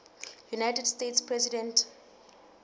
united states president